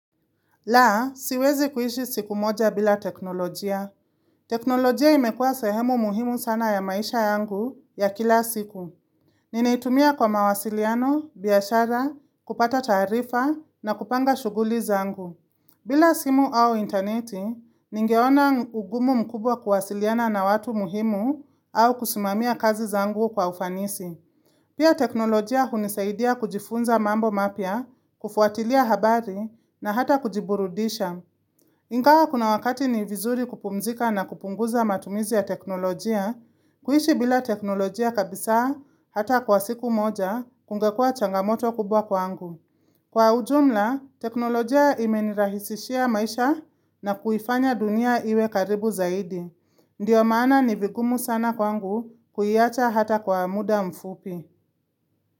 La, siwezi kuishi siku moja bila teknolojia. Teknolojia imekuwa sehemu muhimu sana ya maisha yangu ya kila siku. Ninaitumia kwa mawasiliano, biashara, kupata taarifa na kupanga shughuli zangu. Bila simu au interneti, ningeona ugumu mkubwa kuwasiliana na watu muhimu au kusimamia kazi zangu kwa ufanisi. Pia teknolojia hunisaidia kujifunza mambo mapya, kufuatilia habari na hata kujiburudisha. Ingawa kuna wakati ni vizuri kupumzika na kupunguza matumizi ya teknolojia, kuishi bila teknolojia kabisa hata kwa siku moja kungekuwa changamoto kubwa kwangu. Kwa ujumla, teknolojia imenirahisishia maisha na kuifanya dunia iwe karibu zaidi. Ndiyo maana ni vigumu sana kwangu kuiacha hata kwa muda mfupi.